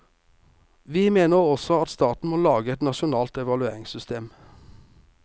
Vi mener også at staten må lage et nasjonalt evalueringssystem.